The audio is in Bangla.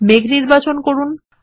মেঘ নির্বাচন করুন